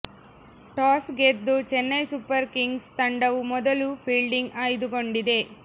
toss ಗೆದ್ದ Chennai super kings ತಂಡವು ಮೊದಲು ಫೀಲ್ಡಿಂಗ್ ಆಯ್ದುಕೊಂಡಿದೆ